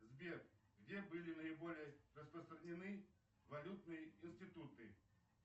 сбер где были наиболее распространены валютные институты